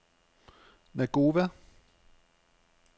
Nagova